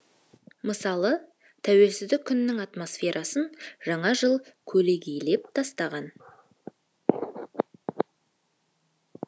мысалы тәуелсіздік күнінің атмосферасын жаңа жыл көлегейлеп тастаған